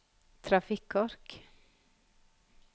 trafikkork